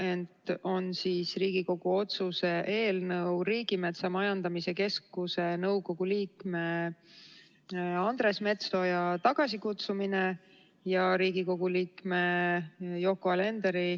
Tegemist on Riigikogu otsuse eelnõuga kutsuda tagasi Riigimetsa Majandamise Keskuse nõukogu liige Andres Metsoja ja nimetada uueks nõukogu liikmeks Riigikogu liige Yoko Alender.